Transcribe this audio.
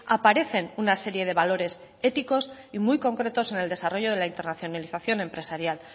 aparecen una serie de valores éticos y muy concretos en el desarrollo de la internacionalización empresarial